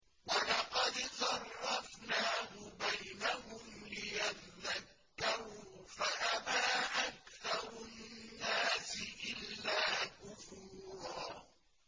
وَلَقَدْ صَرَّفْنَاهُ بَيْنَهُمْ لِيَذَّكَّرُوا فَأَبَىٰ أَكْثَرُ النَّاسِ إِلَّا كُفُورًا